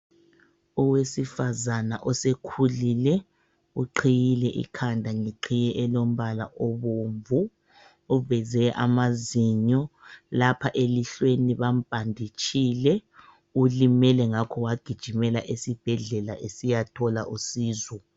Owesifazana osekhulike uqhiyile ikhanda ngeqhiye elombala obomvu. Uveze amazinyo. Lapha elihlweni bambhanditshile. Ulimele ngakho wagijimela esibhedlela esiyathola usizo.